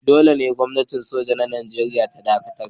Dolle Gwamnatin soja a'Nijeriya ya dakatar.